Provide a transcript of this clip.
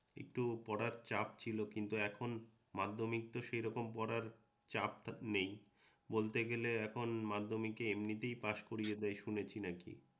একটু পড়ার চাপ ছিল কিন্তু এখন মাধ্যমিকে সেইরকম পড়ার চাপ-টাপ নেই । বলতে গেলে এখন মাধ্যমিকে এমনিতেই পাশ করিয়ে দেয় শুনেছি নাকি?